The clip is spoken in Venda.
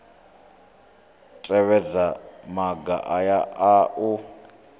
tevhedza maga aya a u